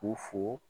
U fo